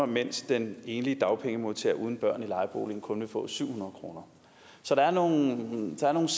mens den enlige dagpengemodtager uden børn i lejebolig kun vil få syv hundrede kroner så der er nogle